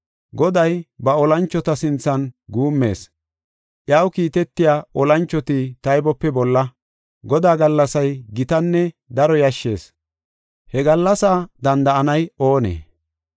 Goday ba olanchota sinthan guummees; iyaw kiitetiya olanchoti taybope bolla. Godaa gallasay gitanne daro yashshees; He gallasa danda7anay oonee?